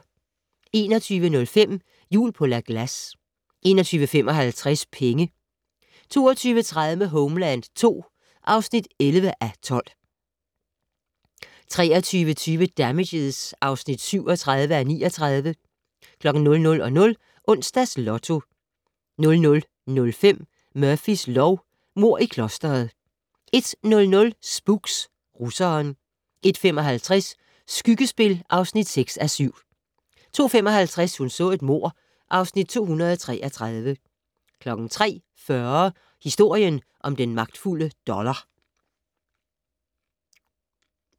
21:05: Jul på La Glace 21:55: Penge 22:30: Homeland II (11:12) 23:20: Damages (37:39) 00:00: Onsdags Lotto 00:05: Murphys lov: Mord i klostret 01:00: Spooks: Russeren 01:55: Skyggespil (6:7) 02:55: Hun så et mord (Afs. 233) 03:40: Historien om den magtfulde dollar